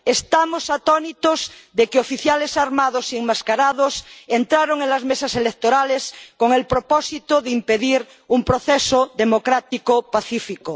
Estamos atónitos de que oficiales armados y enmascarados entraron en las mesas electorales con el propósito de impedir un proceso democrático pacífico.